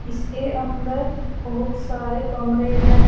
इसके अंदर बहुत सारे कमरे हैं।